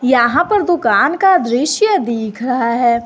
यहां पर दुकान का दृश्य दिख रहा है।